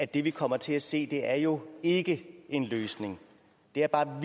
det vi kommer til at se er jo ikke en løsning det er bare